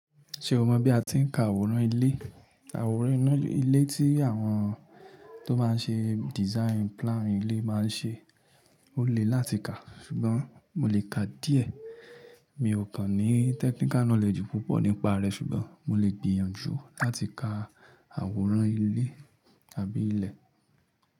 Ṣé o mọ̀ bí a ti ń ka àwòrán ilé? Àwòrán ilé tí àwọn tó máa ń ṣe design plan ilé máa ń ṣe, ó le láti ka, ṣùgbọ́n mo lè ka díẹ̀. Mi ò kan ní technical knowledge púpọ̀ nípa rẹ̀ ṣùgbọ́n mo lè gbìyànjú láti ka àwòrán ilé tàbí ilẹ̀.